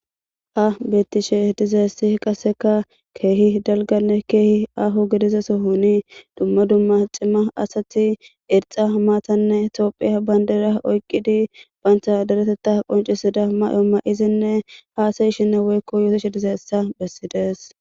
Ha bettishe dizaessi qaseka keehi dalganne keehi aaho gedizaso huni dumma dumma cimma asati irxa maatanne tophiya bayndera oyqqidi bayntha deretetta qoncisida may'o ma'izinne haasayishinne woykko yootishe dizayessa bessides.